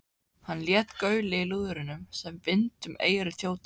Hann lét gaulið í lúðrinum sem vind um eyru þjóta.